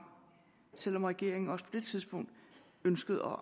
selv om regeringen også på det tidspunkt ønskede